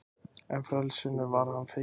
En frelsinu var hann feginn.